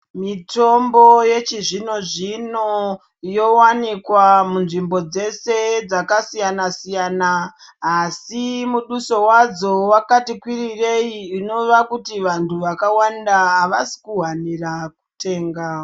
Mitombo yechizvino zvino yowanikwa munzvimbo dzese dzakasiyana siyana asi mutuso wadzo wakati kwirirei zvinova kuti vantu vakawanda avasi kuhanira kuwutenga.